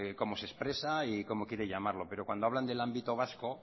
cómo se expresa y cómo quieren llamarlo pero cuando hablan del ámbito vasco